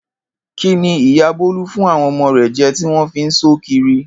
Kíni ìyá Bó̩lá fún àwo̩n o̩mo̩ rè̩ je̩ tí wó̩n fi ń só kiri?